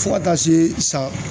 Fo ka taa se san